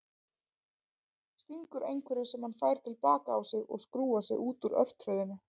Stingur einhverju sem hann fær til baka á sig og skrúfar sig út úr örtröðinni.